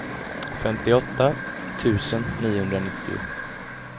femtioåtta tusen niohundranittio